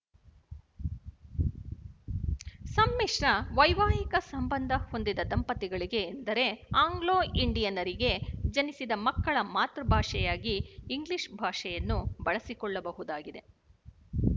ಸಂಮಿಶ್ರ ವೈವಾಹಿಕ ಸಂಬಂಧ ಹೊಂದಿದ ದಂಪತಿಗಳಿಗೆ ಎಂದರೆ ಆಂಗ್ಲೋಇಂಡಿಯನರಿಗೆ ಜನಿಸಿದ ಮಕ್ಕಳ ಮಾತೃಭಾಷೆಯಾಗಿ ಇಂಗ್ಲಿಶ ಭಾಷೆಯನ್ನು ಬಳಸಿಕೊಳ್ಳಬಹುದಾಗಿದೆ